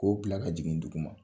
K'o bila ka jigin dugu ma.